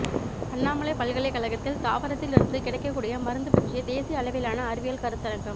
அண்ணாமலைப் பல்கலைக்கழகத்தில் தாவரத்தில் இருந்து கிடைக்ககூடிய மருந்து பற்றிய தேசிய அளவிலான அறிவியல் கருத்தரங்கம்